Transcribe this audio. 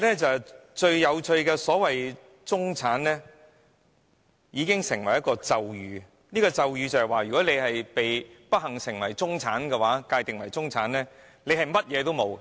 最有趣的是中產，"中產"彷彿成為咒語，如果你不幸被界定為"中產"，你便甚麼也沒有。